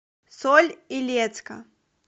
соль илецка